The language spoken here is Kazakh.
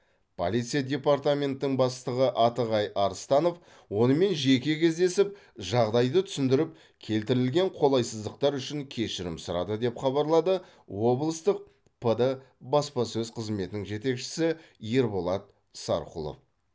полиция департаментінің бастығы атығай арыстанов онымен жеке кездесіп жағдайды түсіндіріп келтірілген қолайсыздықтар үшін кешірім сұрады деп хабарлады облыстық пд баспасөз қызметінің жетекшісі ерболат сарқұлов